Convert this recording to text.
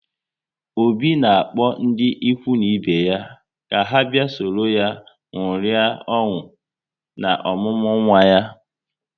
Obi na-akpọ ndị ikwu na ibe ya ka ha bịa sọrọ ya ṅụrịa ọṅụ na ọmụmụ nwa ya